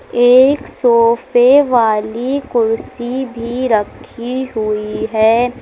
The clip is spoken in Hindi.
एक सोफे वाली कुर्सी भी रखी हुई है।